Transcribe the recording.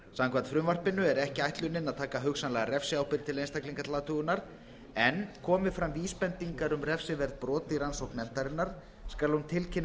samkvæmt frumvarpinu er ekki ætlunin að taka hugsanlega refsiábyrgð einstaklinga til athugunar en komi fram vísbendingar um refsiverð brot í rannsókn nefndarinnar skal hún tilkynna